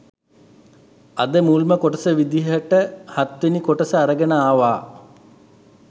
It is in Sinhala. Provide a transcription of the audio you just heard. අද මුල්ම කොටස විදියට හත්වෙනි කොටස අරගෙන ආවා